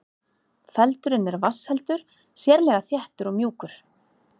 Feldurinn er vatnsheldur, sérlega þéttur og mjúkur.